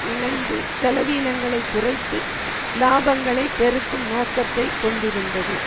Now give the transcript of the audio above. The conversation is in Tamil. இணைந்து செலவீனங்களை குறைத்து இலாபங்களை பெருக்கும் நோக்கத்தை கொண்டிருந்தது